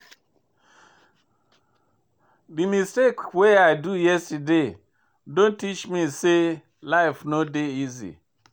Dis mistake wey I do yesterday don teach me sey life no dey easy.